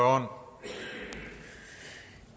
om